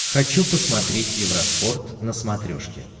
хочу посмотреть евроспорт на смотрешке